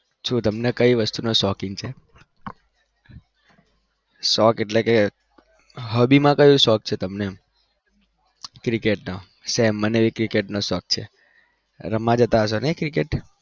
જો તમને કઈ વસ્તુ નો શોખીન છે. શોક એટલે કે hobby માં કયું શોખ છે તમને એમ. cricket નો same મને ભી cricket નો શોક છે. રમવા જતા હસો નઇ cricket?